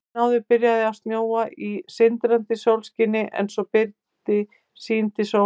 Daginn áður byrjaði að snjóa í sindrandi sólskini en svo byrgði sýn til sólar.